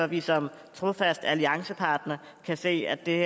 vi som trofast alliancepartner se at det